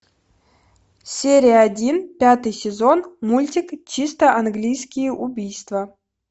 серия один пятый сезон мультик чисто английские убийства